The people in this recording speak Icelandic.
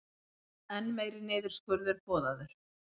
Enn meiri niðurskurður boðaður